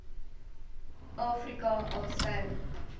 afrika al sou